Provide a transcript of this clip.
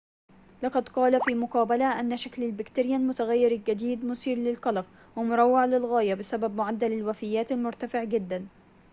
لقد قال في مقابلة أن شكل البكتيريا المتغير الجديد مثير للقلق ومروّع للغاية بسبب معدل الوفيات المرتفع جداً